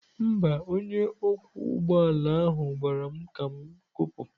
Mba, onye ọkwọ ụgbọ ala ahụ gwara m ka m kụpụ.